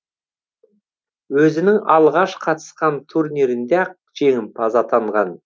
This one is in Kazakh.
өзінің алғаш қатысқан турнирінде ақ жеңімпаз атанған